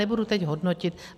Nebudu teď hodnotit.